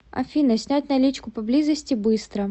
афина снять наличку поблизости быстро